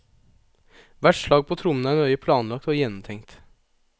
Hvert slag på trommene er nøye planlagt og gjennomtenkt.